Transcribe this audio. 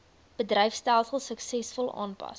bedryfstelsels suksesvol aanpas